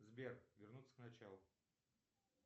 сбер вернуться к началу